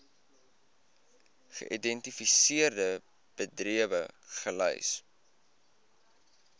geïdentifiseerde bedrywe gelys